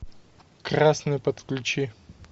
красную подключи